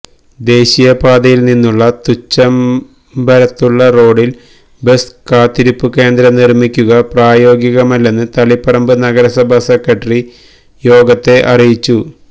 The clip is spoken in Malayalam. ദേശീയ പാതയില് നിന്നും തുച്ചബംരത്തുള്ള റോഡില് ബസ്സ് കാത്തിരിപ്പു കേന്ദ്രം നിര്മ്മിക്കുക പ്രായോഗികമല്ലെന്ന് തളിപ്പറമ്പ് നഗരസഭ സെക്രട്ടറി യോഗത്തെ അറിയിച്ചു